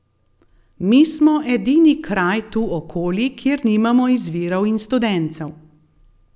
Mi smo edini kraj tu okoli, kjer nimamo izvirov in studencev.